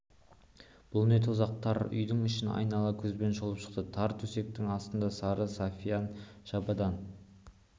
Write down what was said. бұл не тозақ тар үйдің ішін айнала көзбен шолып шықты тар төсектің астында сары сафиян шабадан